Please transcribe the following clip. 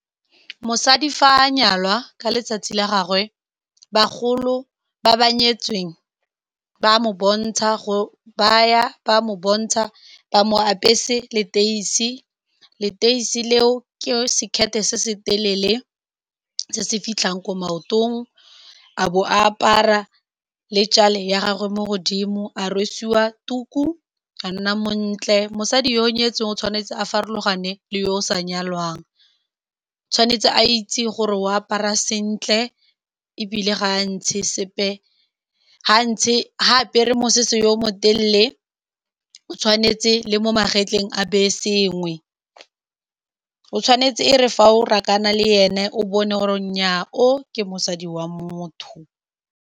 Mosadi fa a nyalwa ka letsatsi la gagwe, bagolo ba ba nyetsweng ba mo bontsha, ba a mo apesa leteisi. Leteisi leo ke sekete se se telele se se fitlhang ko maotong, a bo a apara le tjale ya gagwe mo godimo, a rwesiwa tuku, a nna montle. Mosadi yo o nyetsweng o tshwanetse a farologane le yo o sa nyalwang, o tshwanetse a itse gore o apara sentle ebile ga a ntshe sepe. Ga a ntshe, fa a apere mosese yo o mo telele, o tshwanetse le mo magetleng a beye sengwe, o tshwanetse, e re fa o rakana le ene, o bone gore nnyaa o ke mosadi wa motho.